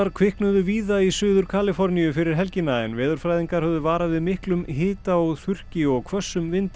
kviknuðu víða í Suður Kaliforníu fyrir helgina en veðurfræðingar höfðu varað við miklum hita og þurrki og hvössum vindi